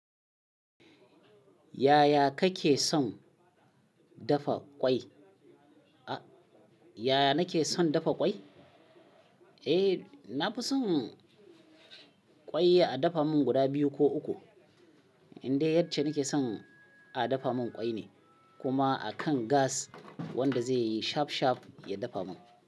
Yaya kake son dafa ƙwai? A yaya nake son dafa ƙwai? Eh, na fi son ƙwai a dafa min guda biyu ko uku. Inde yacce nake son a dafa min ƙwai ne, kuma a kan gas wanda zai yi shaf shaf ya dafa min.